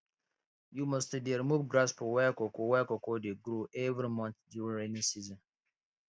you must to dey remove grass for where cocoa where cocoa dey grow every month during rainy season